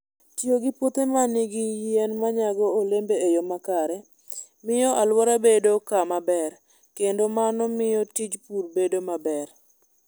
Tiyo gi puothe ma nigi yien ma nyago olembe e yo makare, miyo alwora bedo kama ber, kendo mano miyo tij pur bedo maber.